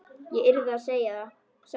Ég yrði að segja satt.